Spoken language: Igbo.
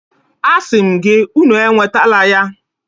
Asị m gị, Unu enwetala ya